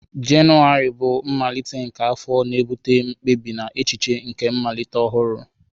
Jenụwarị bụ mmalite nke afọ, na-ebute mkpebi na echiche nke mmalite ọhụrụ.